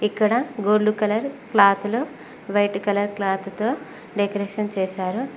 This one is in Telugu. ఇక్కడ గోల్డ్ కలర్ క్లాతులు వైట్ కలర్ క్లాత్ తో డెకరేషన్ చేశారు.